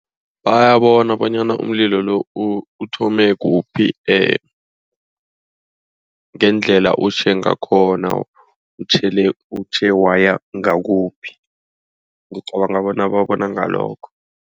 Bayabona bonyana umlilo uthome kuphi ngendlela utjhe ngakhona. Utjhele utjhe waya ngawakuphi. Ngicabanga bona babona ngalokho.